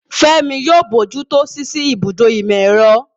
Fẹ́mi yóò bójú tó ṣíṣí ibùdó ìmọ̀-ẹ̀rọ.